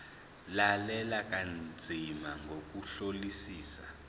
lalela kanzima ngokuhlolisisa